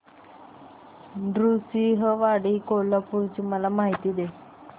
नृसिंहवाडी कोल्हापूर ची मला माहिती दे